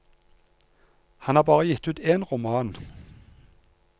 Han har bare gitt ut en roman.